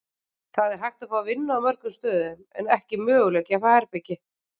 Það er hægt að fá vinnu á mörgum stöðum en ekki möguleiki að fá herbergi.